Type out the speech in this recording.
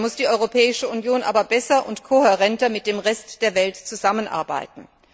Dabei muss die Europäische Union aber besser und kohärenter mit dem Rest der Welt zusammenarbeiten.